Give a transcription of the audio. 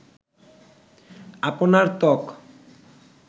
আপনার ত্বক